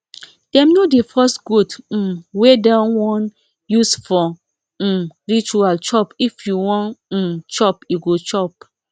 dem no dey force goat um wey dem won use for um ritual chop if won um chop e go chop